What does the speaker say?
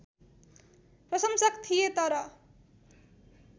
प्रशंसक थिए तर